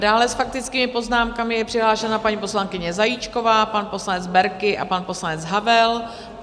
Dále s faktickými poznámkami je přihlášena paní poslankyně Zajíčková, pan poslanec Berki a pan poslanec Havel.